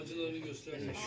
Valla acılarını göstərmə.